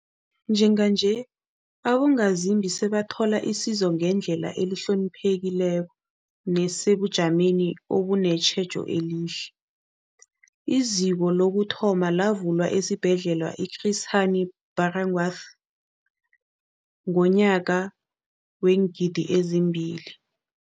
Njenganje, abongazimbi sebathola isizo ngendlela ehloniphekileko nesebujameni obunetjhejo elihle. IZiko lokuthoma lavulwa esiBhedlela i-Chris Hani Baragwanath ngomnyaka we-2 000 000.